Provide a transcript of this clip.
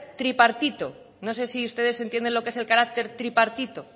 tripartito no sé si ustedes entienden lo que es el carácter tripartito